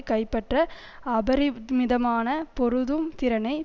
கைப்பற்ற அபரிமிதமான பொருதும் திறனை